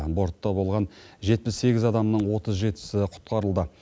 бортта болған жетпіс сегіз адамның отыз жетісі құтқарылды